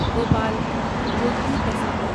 Bhopal Jodhpur passenger